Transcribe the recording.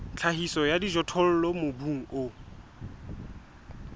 tlhahiso ya dijothollo mobung o